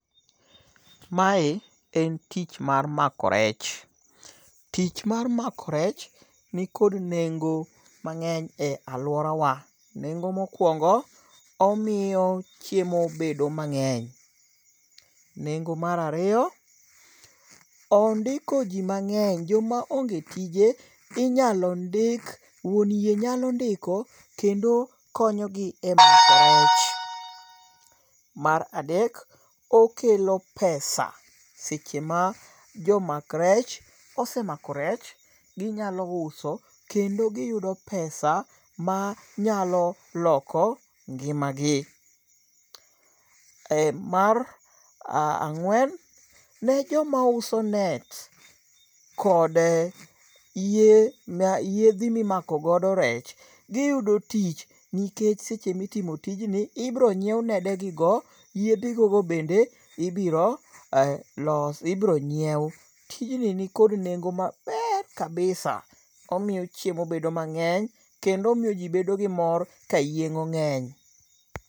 Mae en tich mar mako rech. Tich mar mako rech nikod nengo mang'eny e aluora wa. Nengo mokwongo, omiyo chiemo bedo mang'eny. Nengo mar ariyo, ondiko ji mang'eny. Joma onge tije inyalo ndik wuon yie nyalo ndiko kendo konyo gi emako rech. Mar adek, okelo pesa seche ma jomak rech osemako rech ginyalo uso kendo giyudo pesa manyalo loko ngima gi. Mar ang'wen, ne joma uso net kod yiedhi mimako godo rech, giyudo tich nikech seche mitimo tijini ibiro nyiew nede gigo. Yiethigogo bende ibiro nyiew. Tijni ni kod nengo maber kabisa. Omiyo chiemo bedo mang'eny. Kendo omiyo ji bedo gi mor ka yieng'o ng'eny.